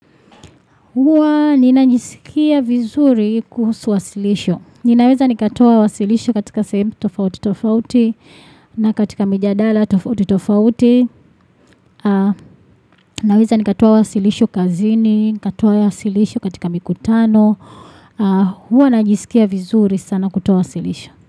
Huwa ninajisikia vizuri kuhusu wasilisho. Ninaweza nikatoa wasilisho katika sehemu tofauti tofauti na katika mijadala tofauti tofauti. Naweza nikatoa wasilisho kazini, nikatoa wasilisho katika mikutano. Huwa najisikia vizuri sana kutoa wasilisho.